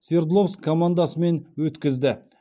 свердловск командасымен өткізді